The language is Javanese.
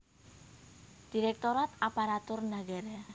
Direktorat Aparatur Nagara